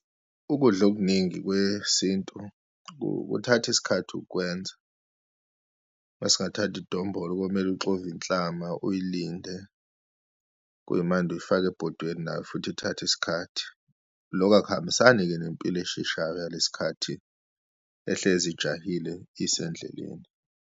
Ukudla okuningi kwesintu kuthatha isikhathi ukwenza. Uma singathatha idombolo, komele uxove inhlama, uyilinde, kuyimande uyifaka ebhodweni, nayo futhi ithatha isikhathi. Loku akuhambisani-ke nempilo esheshayo yalesikhathi, ehlezi ijahile isendleleni.